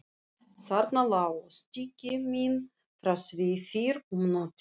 Þarna lágu stykki mín frá því fyrr um nóttina.